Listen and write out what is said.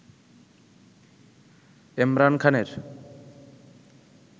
এমরান খানের